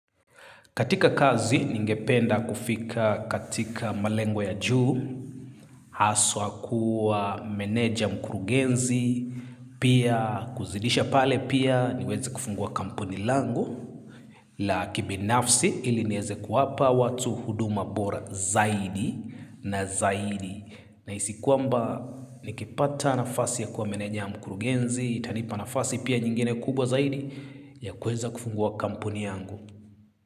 Katika kazi, ningependa kufika katika malengwa ya juu, haswa kuwa meneja mkurugenzi, pia kuzidisha pale pia niweze kufungua kampuni langu, la kibinafsi ili nieze kuwapa watu huduma bora zaidi na zaidi. Na isikuamba, nikipata nafasi ya kuwa meneja mkurugenzi, itanipa nafasi pia nyingine kubwa zaidi ya kueza kufungua kampuni yangu.